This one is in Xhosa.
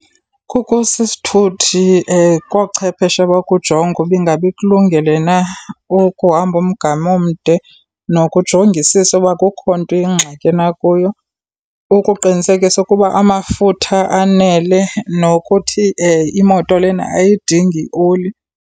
Kukho esi sithuthi koochepheshe bakujonga uba ingaba ikulungele na ukuhamba umgama omde nokujongisisa uba akukho nto iyingxaki na kuyo. Ukuqinisekisa ukuba amafutha anele nokuthi imoto lena ayidingi oli.